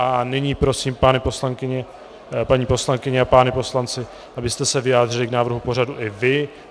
A nyní prosím paní poslankyně a páni poslanci, abyste se vyjádřili k návrhu pořadu i vy.